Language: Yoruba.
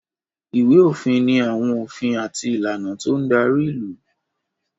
Ìwé-òfin ni àwọn òfin àti ìlànà tó ń darí ìlú.